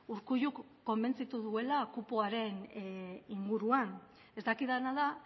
urkulluk konbentzitu duela kupoaren inguruan ez dakidana da